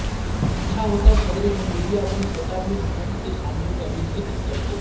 اچھا ہوتا صدر جمہوریہ اپنے خطاب میں حکومت کی خامیوں کا بھی ذکر کرتے